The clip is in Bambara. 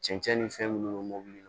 Cɛncɛn ni fɛn minnu bɛ mobili kɔnɔ